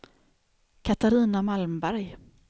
Katarina Malmberg